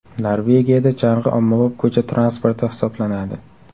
Norvegiyada chang‘i ommabop ko‘cha transporti hisoblanadi.